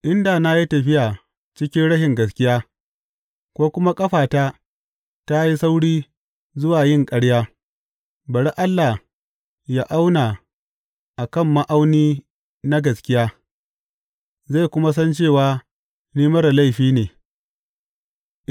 In da na yi tafiya cikin rashin gaskiya ko kuma ƙafata ta yi sauri zuwa yin ƙarya, Bari Allah yă auna a kan ma’auni na gaskiya zai kuma san cewa ni marar laifi ne.